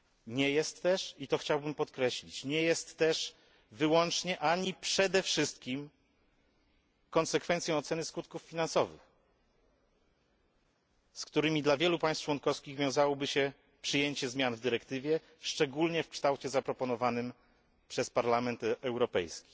Nie jest też i to chciałbym podkreślić wyłącznie ani przede wszystkim konsekwencją oceny skutków finansowych, z którymi dla wielu państw członkowskich wiązałoby się przyjęcie zmian w dyrektywie, szczególnie w kształcie zaproponowanym przez Parlament Europejski.